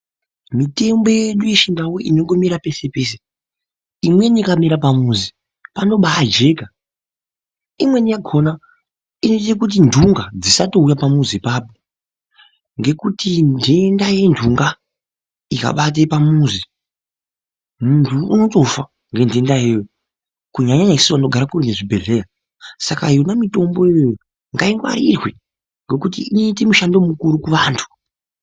Mitombo yedu yechindau inongomera pese pese ,imweni ikamera pamuzi panobaajeka .Imweni yakona inoite kuti ndunga dzisatouya pamuzi ipapo, ngekuti ndenda yendunga ikabaye pamuzi ,muntu unotofa ngendenda iyoyo. Kunyanya nyanya isusu tinogare kure nezvibhehlera .Saka ndenda iyoyo ngainhwarirwe